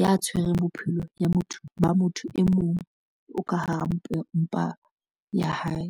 ya tshwereng bophelo ba motho e mong o ka hara mpa ya hae.